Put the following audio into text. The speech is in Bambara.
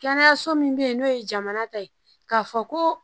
Kɛnɛyaso min bɛ yen n'o ye jamana ta ye k'a fɔ ko